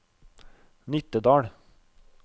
Nittedal